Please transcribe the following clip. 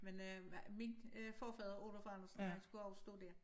Men øh min øh forfader Oluf Andersen han skulle også stå dér